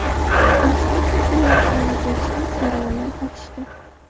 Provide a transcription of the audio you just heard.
Inspektor kelayotganini ko‘rishgach, zo‘ravonlar qochishdi.